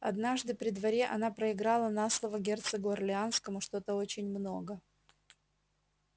однажды при дворе она проиграла на слово герцогу орлеанскому что-то очень много